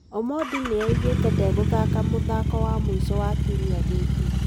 Omondi nĩaugĩte ndegũthaka mũthako wa mũico wa kiumia gĩkĩ.